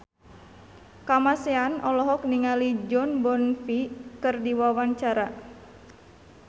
Kamasean olohok ningali Jon Bon Jovi keur diwawancara